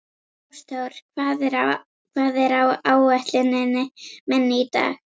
Ásþór, hvað er á áætluninni minni í dag?